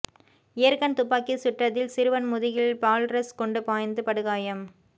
air gun துப்பாக்கி சுட்டதில் சிறுவன் முதுகில் பால்ரஸ் குண்டு பாய்ந்து படுகாயம்